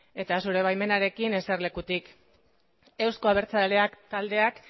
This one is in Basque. eta zure baimenarekin eserlekutik euzko abertzaleak taldeak